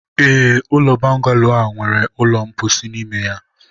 ee, ụlọ bọngalo a nwere ụlọ mposi n'ime ya.